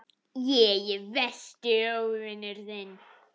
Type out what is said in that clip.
Ég er versti óvinur þinn.